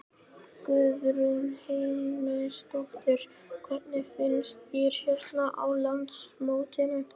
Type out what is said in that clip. Guðrún Heimisdóttir: Hvernig finnst þér hérna á landsmótinu?